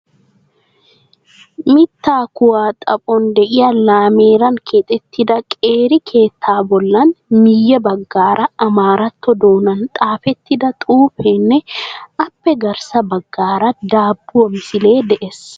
Mittaa kuwaa xaphon de"iyaa lameeran keexettida qeeri keettaa bollan miyye baggaara amaaratto doonan xaafettida xuufeenne aappe garssa baggaara daabbuwa misilee de'ees.